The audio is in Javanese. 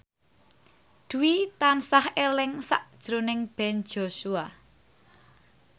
Dwi tansah eling sakjroning Ben Joshua